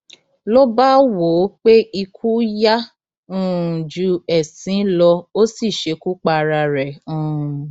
ló bá wò ó pé ikú yá um ju ẹsín lọ ó sì ṣekú pa ara rẹ um